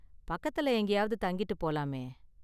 பக்கத்துல எங்கேயாவது தங்கிட்டு போலாமே.